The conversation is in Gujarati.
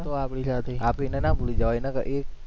આપણે અને ના ભુલી જવાય નખર એ